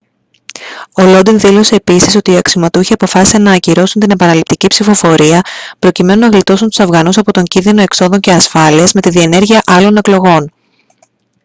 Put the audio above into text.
ο lodin δήλωσε επίσης ότι οι αξιωματούχοι αποφάσισαν να ακυρώσουν την επαναληπτική ψηφοφορία προκειμένου να γλιτώσουν τους αφγανούς από τον κίνδυνο εξόδων και ασφάλειας με τη διενέργεια άλλων εκλογών